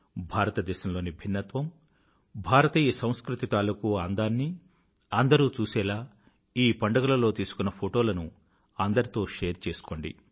భారతదేశంలోని భిన్నత్వం భారతీయ సంస్కృతి తాలూకూ అందాన్నీ అందరూ చూసేలా ఈ పండుగలలో తీసుకున్న ఫోటోలను అందరితో షేర్ చేసుకోండి